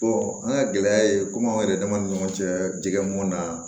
an ka gɛlɛya ye komi anw yɛrɛ dama ni ɲɔgɔn cɛ jɛgɛ mɔn na